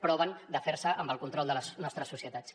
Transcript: proven de fer se amb el control de les nostres societats